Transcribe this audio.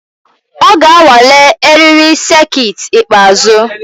Ọ ga-anwale eriri sekit ikpeazụ.